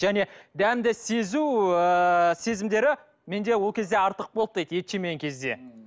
және дәмді сезу ыыы сезімдері менде ол кезде артық болды дейді ет жемеген кезде